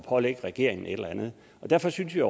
pålægger regeringen et eller andet derfor synes jeg